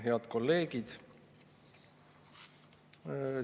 Head kolleegid!